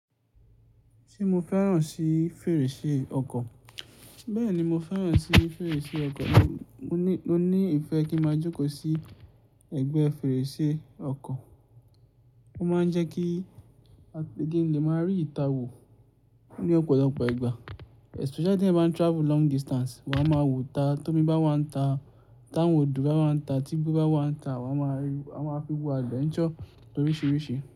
Ṣé mo fẹ́ràn sí fèrèsé ọkọ̀? Bẹ́ẹ̀ni, mo fẹ́ràn sí fèrèsé ọkọ̀, mo ní ìfẹ́ kí máa jókòó sí ẹ̀gbẹ́ fèrèsé ọkọ̀, ó máa ń jẹ́ kí ki n lè máa rí ìta wò. Ní ọ̀pọ̀lọpọ̀ ìgbà especially tí ẹyan bá ń travel long distance, won á máa wò ta tó mi bá wà ń ta, tá wòn odò wà n ta, tígbo bá wà ń ta wà á máa fi lo adventure loríṣiríṣi.